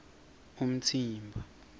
umtsimba